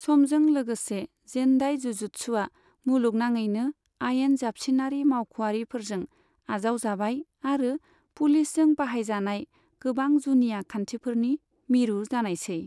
समजों लोगोसे, जेन्डाई जुजुत्सुआ मुलुनाङैनो आयेन जाबसिनारि मावखआरिफोरजों आजावजाबाय आरो पुलिसजों बाहायजानाय गोबां जुनिया खान्थिफोरनि मिरु जानायसै।